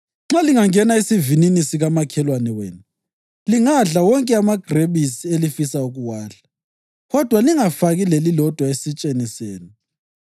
Nxa lingangena esivinini sikamakhelwane wenu, lingadla wonke amagrebisi elifisa ukuwadla, kodwa lingafaki lelilodwa esitsheni senu.